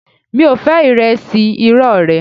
Mi ò fẹ́ ìrẹsì irọ́ rẹ